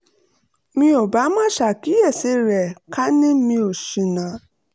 mi ò bá má ṣàkíyèsí rẹ̀ ká ní mi ò ṣìnà